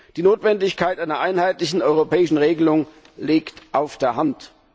Die Notwendigkeit einer einheitlichen europäischen Regelung liegt auf der Hand.